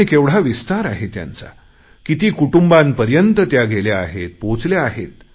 आणि केवढा विस्तार आहे त्यांचा किती कुटुंबांपर्यंत त्या गेल्या आहेत पोहचल्या आहेत